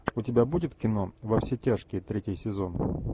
у тебя будет кино во все тяжкие третий сезон